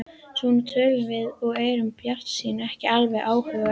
Svona tölum við og erum bjartsýn, ekki alveg óbuguð ennþá.